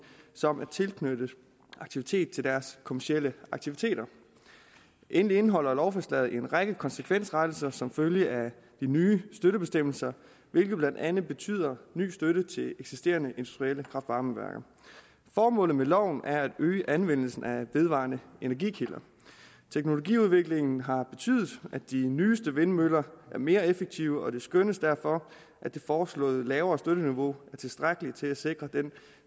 som en tilknyttet aktivitet til deres kommercielle aktiviteter endelig indeholder lovforslaget en række konsekvensrettelser som følge af de nye støttebestemmelser hvilket blandt andet betyder ny støtte til eksisterende industrielle kraft varme værker formålet med loven er at øge anvendelsen af vedvarende energikilder teknologiudviklingen har betydet at de nyeste vindmøller er mere effektive og det skønnes derfor at det foreslåede lavere støtteniveau er tilstrækkeligt til at sikre